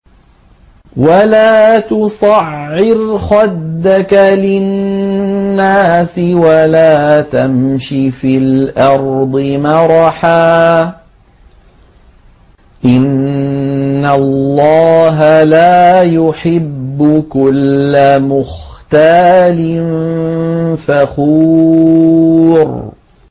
وَلَا تُصَعِّرْ خَدَّكَ لِلنَّاسِ وَلَا تَمْشِ فِي الْأَرْضِ مَرَحًا ۖ إِنَّ اللَّهَ لَا يُحِبُّ كُلَّ مُخْتَالٍ فَخُورٍ